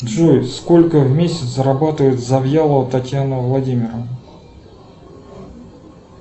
джой сколько в месяц зарабатывает завьялова татьяна владимировна